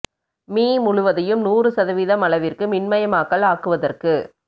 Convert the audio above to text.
me முழுவதையும் நூறு சதவீதம் அளவிற்கு மின்மயமாக்கல் ஆக்குவதற்கு